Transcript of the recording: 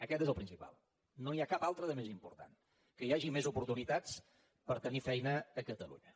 aquest és el principal no hi ha cap altre de més important que hi hagi més oportunitats per tenir feina a catalunya